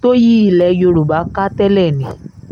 tó yí ilẹ̀ yorùbá ká tẹ́lẹ̀ ni